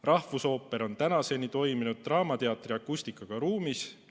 Rahvusooper on tänaseni toiminud draamateatri akustikaga ruumis.